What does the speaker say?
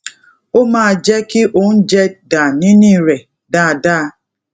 ó máa jé kí oúnjẹ dà nínú rè dáadáa